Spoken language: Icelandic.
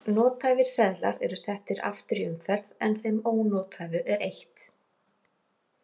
Nothæfir seðlar eru settir aftur í umferð en þeim ónothæfu er eytt.